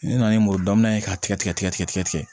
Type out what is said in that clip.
N nana ni muru dɔ minɛ k'a tigɛ tigɛ